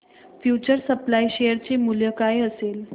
future supply share चे मूल्य काय असेल